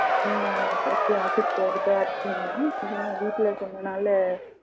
நீங்க எப்படி ஆபீஸ் போறதா இருக்கீங்களா இல்ல வீட்டுல இருக்கறதுனால